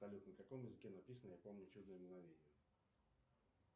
салют на каком языке написано я помню чудное мгновение